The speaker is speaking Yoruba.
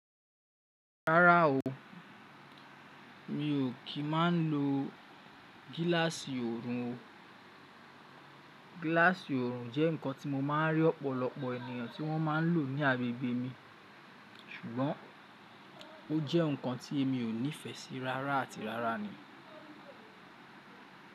Rárá o, mi ò kí máa ń lo gíláàsì òrun o. Gíláàsì òrun jẹ́ nǹkan tí mo máa ń rí ọ̀pọ̀lọpọ̀ ènìyàn tí wọ́n má ń lò ní agbègbè mi, ṣùgbọ́n ó jẹ́ nǹkan tí èmi ò nífẹsí rárá àti rárá ni.